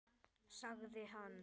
Sagði hann.